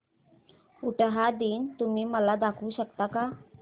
उटाहा दिन तुम्ही मला दाखवू शकता का